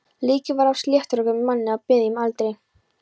Líkið var af sléttrökuðum manni á miðjum aldri.